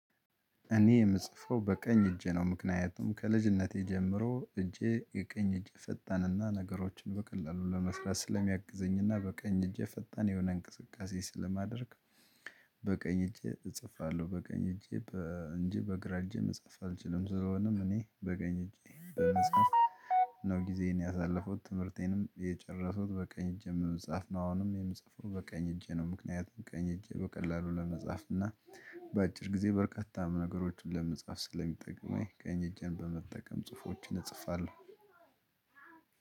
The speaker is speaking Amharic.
እኔ የምጽፈው በቀኝ እጄ ነው ምክንያቱም ከልጅነቴ ጀምሮ እጄ የቀኝ እጄ ፈጣንና ነገሮችን በቀላሉ ለመስራት ስለሚያግዘኝና በቀኝ እጄ ፈጣን የሆነ እንቅስቃሴ ስለማደርግ። በቀኝ እጄ እጽፋለሁ በቀኝ እጄ እንጂ በግራ እጄ መጻፍ አልችልም። ስለሆነም እኔ በቀኝ እጄ በመጽሐፍ ነው ጊዜዬን ያሳለፉኩት ትምህርቴንም የጨረስኩት በቀኝ እጄ በመጻፍ ነው። አሁንም የምጽፈው በቀኝ እጄ ነው። ምክንያቱም ቀኝ እጄ በቀላሉ ለመፍ እና በአጭር ጊዜ በርካታ ነገሮችን ለመጻፍ ስለሚጠቅመኝ ቀኝ እጄን በመጠቀም ጽሁፎችን እጽፋለሁ።